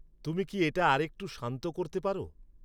তুমি কি এটা আর একটু শান্ত করতে পারো?